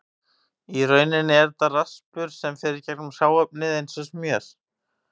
Í rauninni er þetta raspur sem fer í gegnum hráefnið eins og smjör.